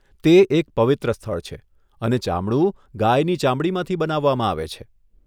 તે એક પવિત્ર સ્થળ છે અને ચામડું ગાયની ચામડીમાંથી બનાવવામાં આવે છે.